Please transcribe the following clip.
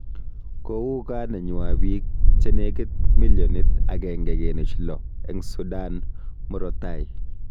Kouu gaa nenywa biik che negit millionit 1.6 eng Sudan murotai